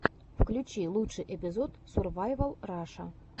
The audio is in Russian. включи лучший эпизод сурвайвал раша